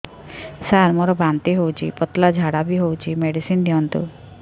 ସାର ମୋର ବାନ୍ତି ହଉଚି ପତଲା ଝାଡା ବି ହଉଚି ମେଡିସିନ ଦିଅନ୍ତୁ